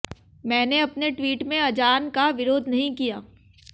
मैंने अपने ट्वीट में अजान का विरोध नहीं किया